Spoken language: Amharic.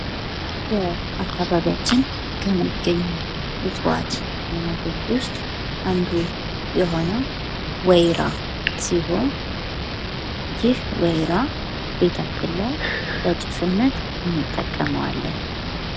በአካባቢያችን ከሚገኙ እጽዋት አይነቶች ዉስጥ አንዱ የሆነው ወይራ ሲሆን፤ ይህ ወይራ ቤታችን ላይ ለጭስነት እንጠቀመዋለን።